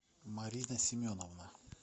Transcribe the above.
марина семеновна